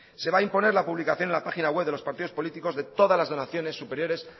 se va a imponer la publicación en la página web de los partidos políticos de todas las donaciones superiores